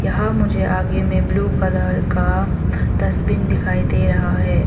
यहां मुझे आगे में ब्लू कलर का डस्टबिन दिखाई दे रहा है।